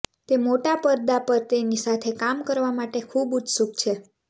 તે મોટા પરદા પર તેની સાથે કામ કરવા માટે ખુબ ઉત્સુક છે